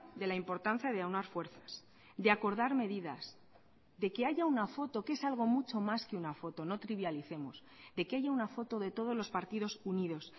de la importancia de aunar fuerzas de acordar medidas de que haya una foto que es algo mucho más que una foto no trivialicemos de que haya una foto de todos los partidos unidos